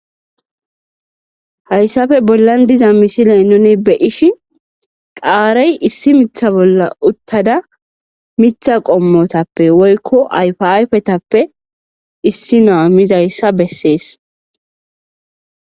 hayssafe bollan diza mishiley nuni beyishi xaarey issi mitha bolla uttada mitha qommotappe woykko yfiaafetappe issi naa mizayssa bessees